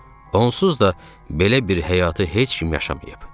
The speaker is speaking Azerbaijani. Onsuz da belə bir həyatı heç kim yaşamayıb.